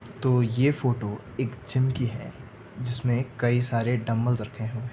तो ये फोटो एक जिम की है जिसमे कई सारे डम्बल्स रखे हुए--